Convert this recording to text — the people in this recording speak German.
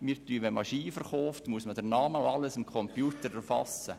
Verkauft man Skier, muss man den Namen und alle zusätzlichen Angaben im Computer erfassen.